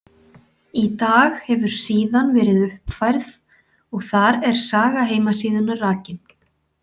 Í dag hefur síðan verið uppfærð og þar er saga heimasíðunnar rakin.